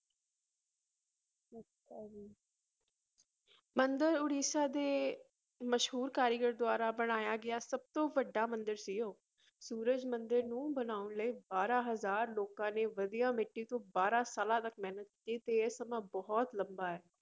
ਮੰਦਿਰ ਉੜੀਸਾ ਦੇ ਮਸ਼ਹੂਰ ਕਾਰੀਗਰ ਦੁਆਰਾ ਬਣਾਇਆ ਗਿਆ ਸਭ ਤੋਂ ਵੱਡਾ ਮੰਦਿਰ ਸੀ ਉਹ, ਸੂਰਜ ਮੰਦਿਰ ਨੂੰ ਬਣਾਉਣ ਲਈ ਬਾਰਾਂ ਹਜ਼ਾਰ ਲੋਕਾਂ ਨੇ ਵਧੀਆ ਮਿੱਟੀ ਤੋਂ ਬਾਰਾਂ ਸਾਲਾਂ ਤੱਕ ਮਿਹਨਤ ਕੀਤੀ ਤੇ ਇਹ ਸਮਾਂ ਬਹੁਤ ਲੰਬਾ ਹੈ।